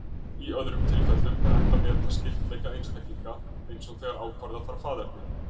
Í öðrum tilfellum er hægt að meta skyldleika einstaklinga, eins og þegar ákvarða þarf faðerni.